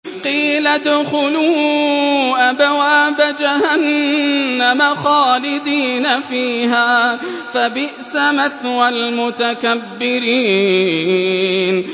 قِيلَ ادْخُلُوا أَبْوَابَ جَهَنَّمَ خَالِدِينَ فِيهَا ۖ فَبِئْسَ مَثْوَى الْمُتَكَبِّرِينَ